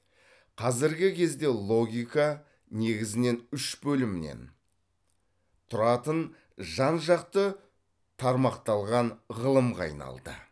қазіргі кезде логика негізінен үш бөлімнен тұратын жан жақты тармақталған ғылымға айналды